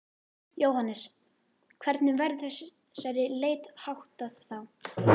Jóhannes: Hvernig verður þessari leit háttað þá?